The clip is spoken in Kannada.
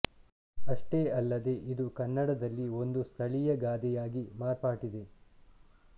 ಅಷ್ಟೇ ಅಲ್ಲದೆ ಇದು ಕನ್ನಡದಲ್ಲಿ ಒಂದು ಸ್ಥಳೀಯ ಗಾದೆಯಾಗಿ ಮಾರ್ಪಟ್ಟಿದೆ